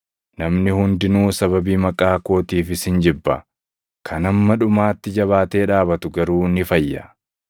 Namni hundinuu sababii maqaa kootiif isin jibba; kan hamma dhumaatti jabaatee dhaabatu garuu ni fayya.